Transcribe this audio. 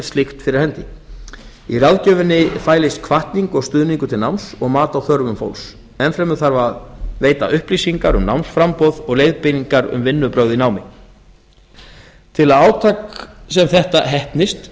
slíkt fyrir hendi í ráðgjöfinni fælist hvatning og stuðningur til náms og mat á þörfum fólks ennfremur þarf að veita upplýsingar um námsframboð og leiðbeiningar um vinnubrögð í námi til að átak sem þetta heppnist